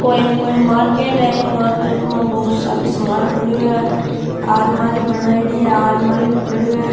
ओ कोई एक मार्केट है ये मार्केट माँ बहुत सारा सामान पड़ो है आलमारी बनाईडी है अलमारी पड़ी है।